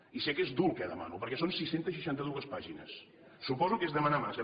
i sé que és dur el que demano perquè són sis cents i seixanta dos pàgines su poso que és demanar massa